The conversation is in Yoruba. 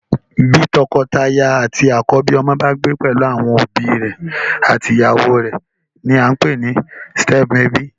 Bí tọkọtaya àti akọbi ọmọ bá gbé pelu àwọn òbí àti ìyàwó rẹ ní a npè ní stem ebi